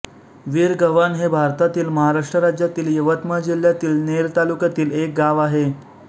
विरगव्हाण हे भारतातील महाराष्ट्र राज्यातील यवतमाळ जिल्ह्यातील नेर तालुक्यातील एक गाव आहे